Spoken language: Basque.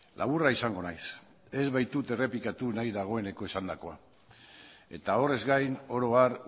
laburra izango naiz ez baitut errepikatu nahi dagoeneko esandakoa eta horrez gain oro har